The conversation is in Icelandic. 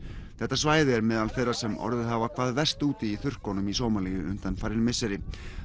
þetta svæði er meðal þeirra sem orðið hafa hvað verst úti í þurrkunum í Sómalíu undanfarin misseri